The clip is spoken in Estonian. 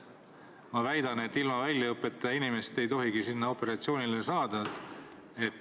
Ma väidan, et ilma väljaõppeta inimest ei tohigi sinna operatsioonile saata.